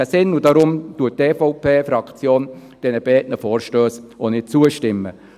Deshalb stimmt die EVP-Fraktion diesen beiden Vorstössen auch nicht zu.